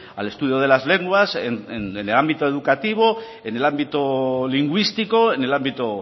al estudio de las lenguas en el ámbito educativo en el ámbito lingüístico en el ámbito